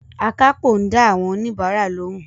Akápò ń dá àwọn òníbarà lóhùn